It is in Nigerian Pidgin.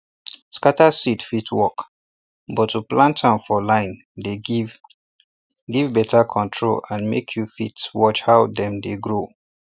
scatter seed fit work but to plant am for line dey give give better control and make you fit watch how dem dey grow